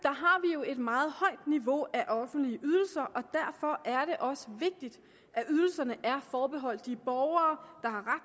jo et meget højt niveau af offentlige ydelser og derfor er det også vigtigt at ydelserne er forbeholdt de borgere der har